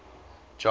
john